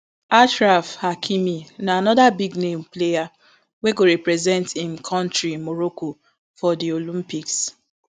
achraf hakimi na anoda big name player wey go represent im kontri morocco for di olympics